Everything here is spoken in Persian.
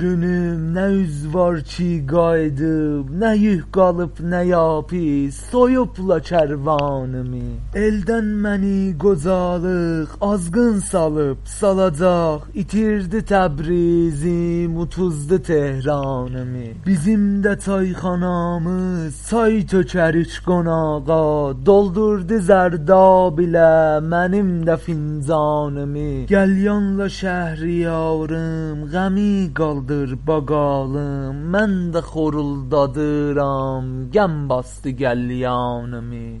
نه دیز وار کی سورونوم نه اوز وارکی قاییدیم نه یوک قالیب نه یابی سویوبلا کروانیمی ایلدن منی قیوجالیق آزقین سالیب سالاجاق ایتیردی تبریزیم اودوزدو تهرانیمی بیزیم ده چایخانامیز چای تؤکررک قوناغا دولدوردی زردآب ایله منیم ده فنجانیمی قلیانلا شهریاریم غمی قالدیر باقالیم من ده خورولدادیرام غم باسدی قلیانیمی ۱۳۵۹